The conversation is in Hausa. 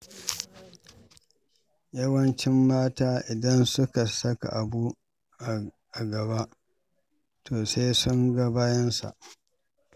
Yawancin mata, idan suka saka abu a gaba to sai sun ga bayansa.